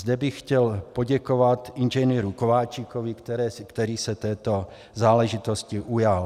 Zde bych chtěl poděkovat Ing. Kováčikovi, který se této záležitosti ujal.